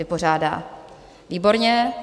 Vypořádá, výborně.